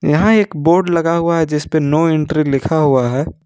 यहां एक बोर्ड लगा हुआ है जिसपे नो एंट्री लिखा हुआ है।